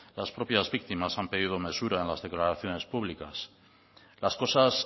las propias víctimas han pedido mesura en las declaraciones públicas las cosas